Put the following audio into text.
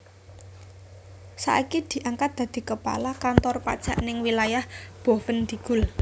Saiki diangkat dadi kepala kantor pajak ning wilayah Boven Digul